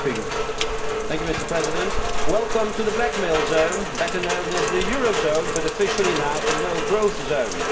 Mr President, welcome to the blackmail zone, better known as the eurozone, but officially now a no growth zone.